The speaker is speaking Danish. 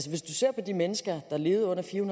hvis du ser på de mennesker der levede under fire